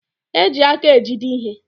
E ji aka ejide ihe.